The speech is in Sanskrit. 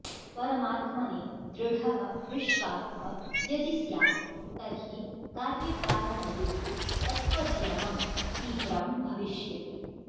परमात्मनि दृढः विश्वासः यदि स्यात् तर्हि कार्यकारणयोः तत्त्वज्ञानं तीव्रं भविष्यति